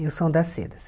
E o som das cedas.